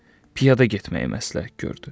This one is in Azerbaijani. Piyada getməyi məsləhət gördü.